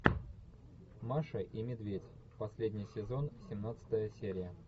маша и медведь последний сезон семнадцатая серия